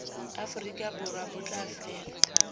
aforika borwa bo tla fela